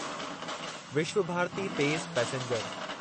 विश्वभारती तेज़ पैसेंजर